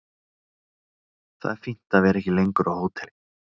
Það er fínt að vera ekki lengur á hóteli.